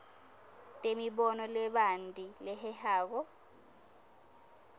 temibono lebanti lehehako